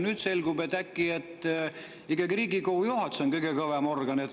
Nüüd selgub, et äkki on ikkagi Riigikogu juhatus kõige kõvem organ.